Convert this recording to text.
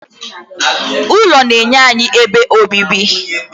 ụlọ na-enye anyị ebe obibi